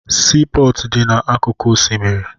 Siipọọtụ na-adị n'akụkụ osimiri